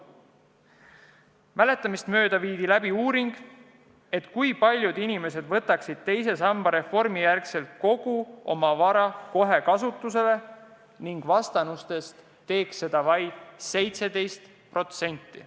Mäletamist mööda viidi läbi uuring, kui paljud inimesed võtaksid pärast teise samba reformi kogu oma vara kohe kasutusele, ning vastanutest teeks seda vaid 17%.